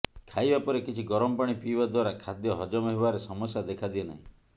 ଖାଇବା ପରେ କିଛି ଗରମ ପାଣି ପିଇବା ଦ୍ୱାରା ଖାଦ୍ୟ ହଜମ ହେବାରେ ସମସ୍ୟା ଦେଖାଦିଏ ନାହିଁ